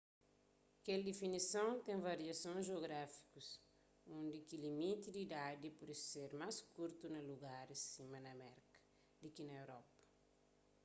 kel difinison ten variasons jeográfikus undi ki limiti di idadi pode ser más kurtu na lugaris sima na merka di ki na europa